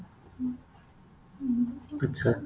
ଆଚ୍ଛା